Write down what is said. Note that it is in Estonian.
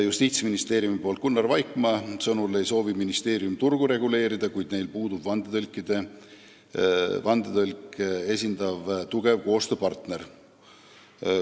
Justiitsministeeriumi esindaja Gunnar Vaikmaa sõnul ei soovi ministeerium turgu reguleerida, kuid neil puudub vandetõlke esindav tugev koostööpartner.